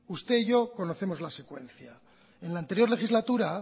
usted y yo conocemos la secuencia en la anterior legislatura